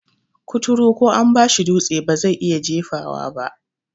Kuturu ko an bashi dutse bazai iya jefawa ba